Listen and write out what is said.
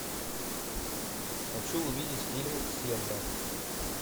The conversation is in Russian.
хочу увидеть фильм сенна